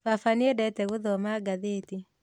Baba nĩendete gũthoma ngathĩti